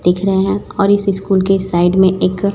दिख रहे हैं और इस स्कूल के साइड में एक--